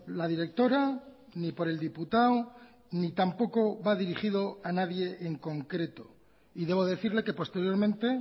la directora ni por el diputado ni tampoco va dirigido a nadie en concreto y debo decirle que posteriormente